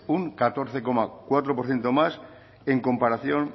un catorce coma cuatro por ciento más en comparación